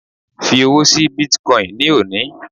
fi owó sí bitcoin ni oni